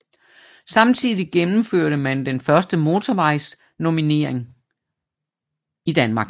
Samtidig gennemførte man den første hovedvejsnummerering i Danmark